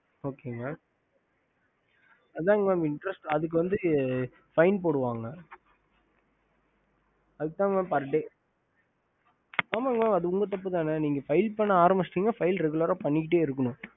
ஹம்